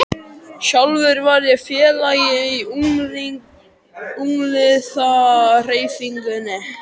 Sjálfur var ég félagi í ungliðahreyfingunni.